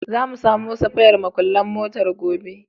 Za mu samo safayan muƙullan motar gobe.